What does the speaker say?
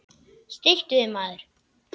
Stilltu þig, maður!